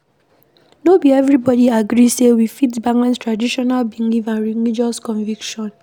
No be everybody agree sey we fit balance traditional belief and religious conviction